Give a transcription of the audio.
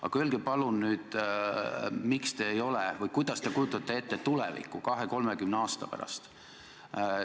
Aga öelge palun, kuidas te kujutate ette tulevikku 20–30 aasta pärast.